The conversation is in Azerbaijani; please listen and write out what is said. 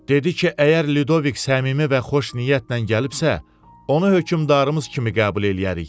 Dedi ki, əgər Lidovik səmimi və xoş niyyətlə gəlibsə, onu hökmdarımız kimi qəbul eləyərik.